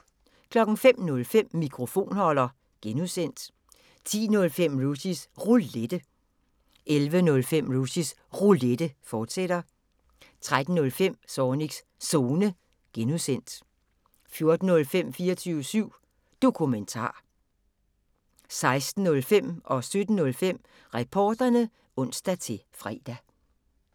05:05: Mikrofonholder (G) 10:05: Rushys Roulette 11:05: Rushys Roulette, fortsat 13:05: Zornigs Zone (G) 14:05: 24syv Dokumentar 16:05: Reporterne (ons-fre) 17:05: Reporterne (ons-fre)